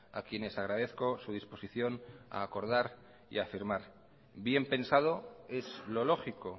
a quienes agradezco su disposición a acordar y a firmar bien pensado es lo lógico